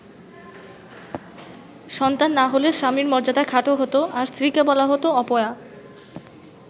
সন্তান না হলে স্বামীর মর্যাদা খাটো হতো আর স্ত্রীকে বলা হতো অপয়া।